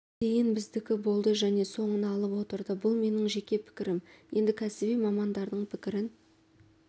дейін біздікі болды және соңын алып отырды бұл менің жеке пікірім енді кәсіби мамандардың пікірін